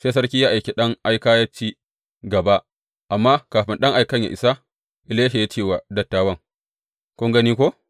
Sai sarki ya aiki ɗan aika yă ci gaba, amma kafin ɗan aikan yă isa, Elisha ya ce wa dattawan, Kun gani ko?